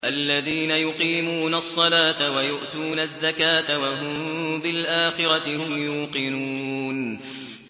الَّذِينَ يُقِيمُونَ الصَّلَاةَ وَيُؤْتُونَ الزَّكَاةَ وَهُم بِالْآخِرَةِ هُمْ يُوقِنُونَ